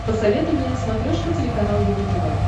посоветуй мне на смотрешке телеканал его тв